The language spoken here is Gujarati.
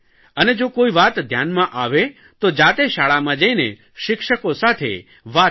અને જો કોઇ વાત ધ્યાનમાં આવે તો જાતે શાળામાં જઇને શિક્ષકો સાથે વાત કરે